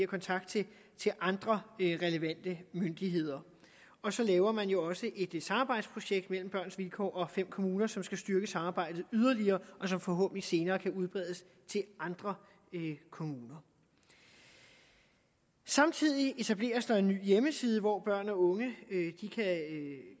kontakt til andre relevante myndigheder og så laver man jo også et samarbejdsprojekt mellem børns vilkår og fem kommuner som skal styrke samarbejdet yderligere og som forhåbentlig senere kan udbredes til andre kommuner samtidig etableres der en ny hjemmeside hvor børn og unge